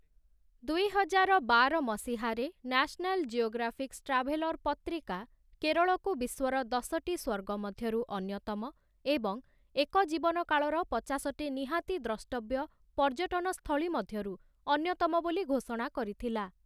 ଦୁଇହଜାର ବାର ମସିହାରେ 'ନ୍ୟାସ୍‌ନାଲ୍‌ ଜିଓଗ୍ରାଫିକ୍‌ସ୍ ଟ୍ରାଭେଲର୍‌' ପତ୍ରିକା କେରଳକୁ ବିଶ୍ୱର ଦଶଟି ସ୍ଵର୍ଗ ମଧ୍ୟରୁ ଅନ୍ୟତମ ଏବଂଏକ ଜୀବନକାଳର ପଚାଶଟି ନିହାତି ଦ୍ରଷ୍ଟବ୍ୟ ପର୍ଯ୍ୟଟନ ସ୍ଥଳୀ ମଧ୍ୟରୁ ଅନ୍ୟତମ ବୋଲି ଘୋଷଣା କରିଥିଲା ।